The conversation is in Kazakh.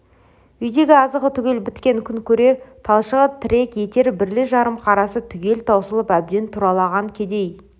үйдегі азығы түгел біткен күн көрер талшығы тірек етер бірлі-жарым қарасы түгел таусылып әбден тұралаған кедей